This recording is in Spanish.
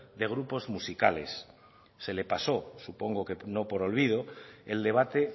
de grupos musicales se le pasó supongo que no por olvido el debate